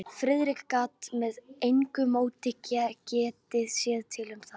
Friðrik gat með engu móti getið sér til um það.